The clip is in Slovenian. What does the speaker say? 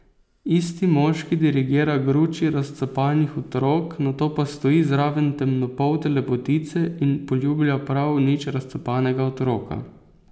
Isti moški dirigira gruči razcapanih otrok, nato pa stoji zraven temnopolte lepotice in poljublja prav nič razcapanega otroka.